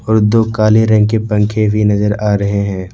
और दो काले रंग के पंखे भी नजर आ रहे है ।